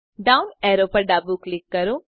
down arrow પર ડાબું click કરો